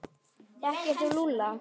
Þekkir þú Lúlla?